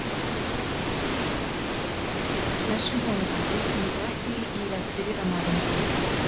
Blessun hjónabandsins kemur þó ekki í veg fyrir að maðurinn fari illa með það.